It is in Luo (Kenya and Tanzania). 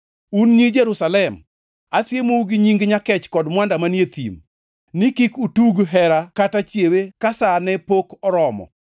Un nyi Jerusalem, asiemou gi nying nyakech kod mwanda manie e thim, ni kik utug hera kata chiewe ka sa ne pok oromo.